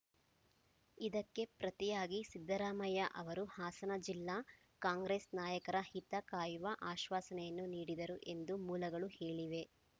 ಇದಕ್ಕೆ ಪ್ರತಿಯಾಗಿ ಸಿದ್ದರಾಮಯ್ಯ ಅವರು ಹಾಸನ ಜಿಲ್ಲಾ ಕಾಂಗ್ರೆಸ್‌ ನಾಯಕರ ಹಿತ ಕಾಯುವ ಆಶ್ವಾಸನೆಯನ್ನು ನೀಡಿದರು ಎಂದು ಮೂಲಗಳು ಹೇಳಿವೆ